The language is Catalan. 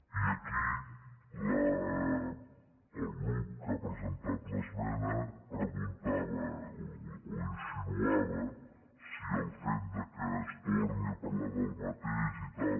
i aquí el grup que ha presentat l’esmena preguntava o insinuava si el fet que es torni a parlar del mateix i tal